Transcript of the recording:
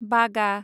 बागा